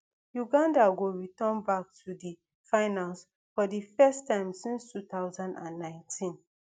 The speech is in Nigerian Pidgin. uganda go return back to di finals for di first time since two thousand and nineteen